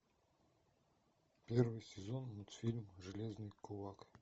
первый сезон мультфильм железный кулак